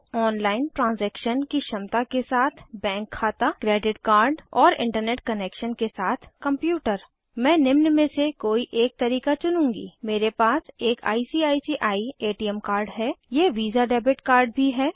online transaction की क्षमता के साथ बैंक खाता क्रेडिट कार्ड और इंटरनेट कनेक्शन के साथ कंप्यूटर मैं निम्न में से कोई एक तरीका चुनूँगी मेरे पास एक आईसीआईसीआई एटीएम कार्ड है यह वीसा डेबिट कार्ड भी है